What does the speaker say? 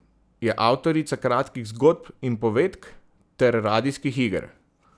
Je avtorica kratkih zgodb in povedk ter radijskih iger.